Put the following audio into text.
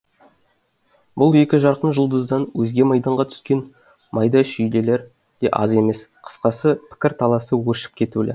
бұл екі жарқын жұлдыздан өзге майданға түскен майда шүйделер де аз емес қысқасы пікір таласы өршіп кетулі